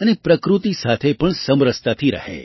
અને પ્રકૃતિ સાથે પણ સમરસતાથી રહે